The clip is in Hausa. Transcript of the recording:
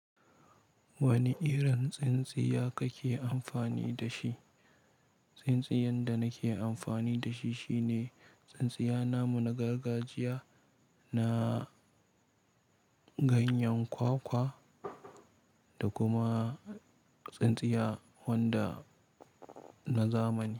Wani irin tsintsiya ka ke amfani da shi? Tsintsiyan da na ke amfani da shi shi ne tsintsiya namu na gargajiya, na ganyen kwakwa da kuma tsintsiya wanda na zamani.